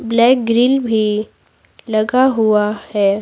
Black grill भी लगा हुआ है।